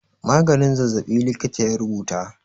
Maganin zazzaɓi likita ya rubuta.